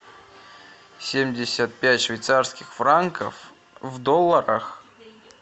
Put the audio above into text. семьдесят пять швейцарских франков в долларах